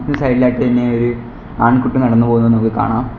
ഇത് സൈഡ് ഇലായിട്ട് തന്നെ ഒരു ആൺകുട്ടി നടന്നു പോകുന്നത് നമുക്ക് കാണാം.